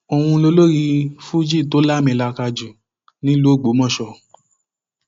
òun lolórin fújì tó lámilaaka jù lọ nílùú ògbómọṣọ